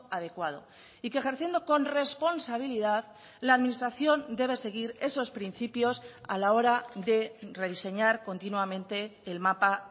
adecuado y que ejerciendo con responsabilidad la administración debe seguir esos principios a la hora de rediseñar continuamente el mapa